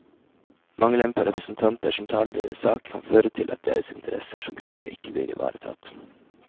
Mangelen på representanter som taler deres sak, kan føre til at deres interesser som gruppe ikke blir ivaretatt.